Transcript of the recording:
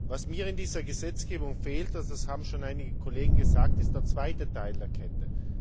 Was mir in dieser Gesetzgebung fehlt das haben schon einige Kollegen gesagt ist der zweite Teil der Kette.